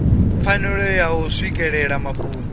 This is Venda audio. pfanelo ya u swikelela mafhungo